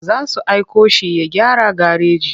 Za su aiko shi ya gyara gareji.